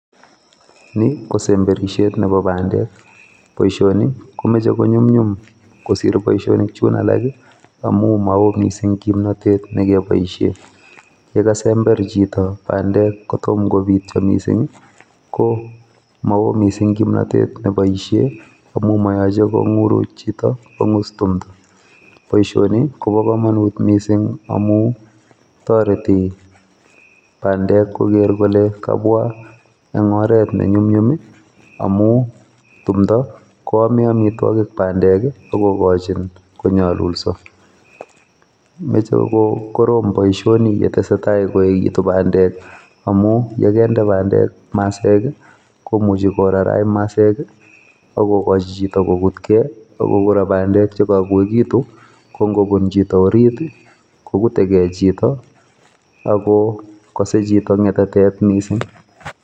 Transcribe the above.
Ni kosemberishet Nebo bandek, boishoni komoche konyumnyum kosiir booshonik chun alak amun mowoo missing kimonotet nekebooshien. Ye kasember chito bandek kotomo kobiityoo missing i,ko mowoo missing kimnotet neboishien amun moyoche konguruk chito kongiis timdoo. Boishoni kobo komonut missing amun toretii bandek ko ker kole kabwa en oret nenyumnyum amum timdoo neomeen amitwogik bandek akokochin konyolulsoo ,noche kokoroom boishoni yetesai koyeekitun bandek, amun yekendee bandek maseek, komuchi korarach masek akokochi chito kokutgee ako kora bandek chekoyechegitun ko ingobun chito oriit it, kogutee ge chito akokose chito ngetatet neo missing